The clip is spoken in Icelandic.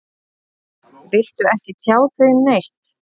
Viltu ekki tjá þig neitt?